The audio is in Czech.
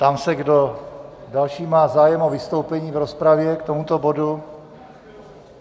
Ptám se, kdo další má zájem o vystoupení v rozpravě k tomuto bodu.